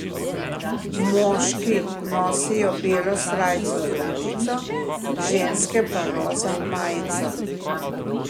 Moški nosijo belo srajco z rutico, ženske pa roza majico.